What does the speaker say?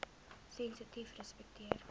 sensitiefrespekteer